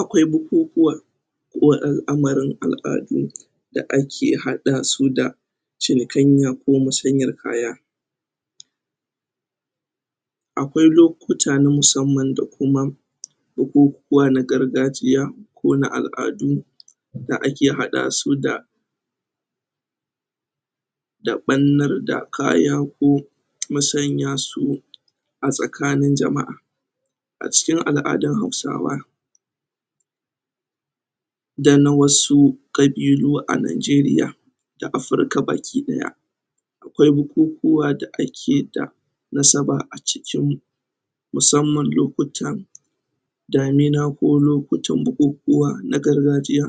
Akwai bukukuwa alamarin aladu da ake hada su da cinikanya or masanyar kaya. Akwai lokuta na musamman da kuma bukukuwa na gargajiya ko na aladu da ake hada su da da bannir da kaya ko masanya su a tsakanin jamaa. cikin aladun hausawa da na wasu kabilu a Najiriya da Afrika gabakidaya akwai bukukuwa da ake da nasaba acikin musamman lokuta damina ko lokuta bukukuwa na gargajiya.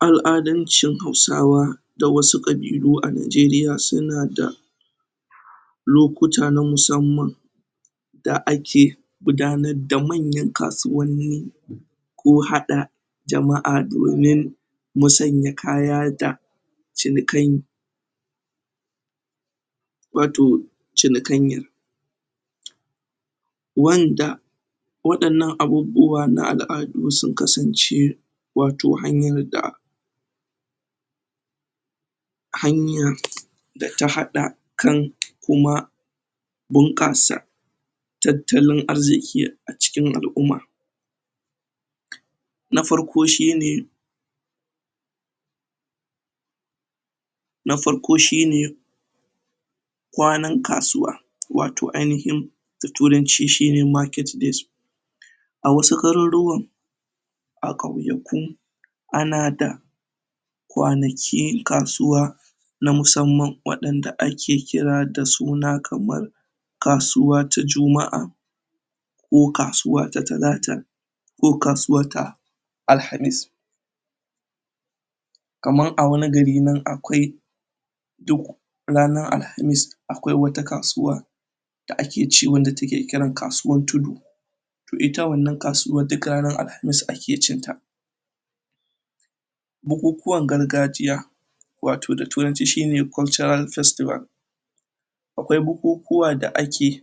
Aladancin hausawa da wasu kabilu a Najeriya su na da lokuta na musamman da ake gudanar da manyan kasuwani ko hada jamaa domin musanya kaya da cinikai'n. Watoh cinikanyir wanda wadannan abubuwa na da su kasance watoh hanyar da hanyar da ta hada kan kuma bunkasa tatalan arziki acikin alumma. Na farko shi ne na farko shi ne kwanan kasuwa, watoh ainihin da turanci shi ne market days. A wasu garuruwa a kwayaku, ana da kwanaki kasuwa na musamman wadanda a ke kira da suna kamar kasuwa ta jumaa ko kasuwa ta talata ko kasuwa ta alhamis. Kaman a wani gari nan akwai duk ranar alhamis akwai wata kasuwa da ake ce wanda ta ke kiran kasuwan tudu. Toh ita wannan kasuwar duk ranar alhamis ake cin ta. Bukukuwan gargajiya, watoh da turanci shi ne "cultural festival" akwai bukukuwa da ake.